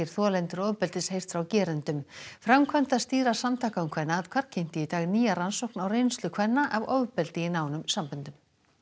þolendur ofbeldis heyrt frá gerendum framkvæmdastýra Samtaka um kvennaathvarf kynnti í dag nýja rannsókn á reynslu kvenna af ofbeldi í nánum samböndum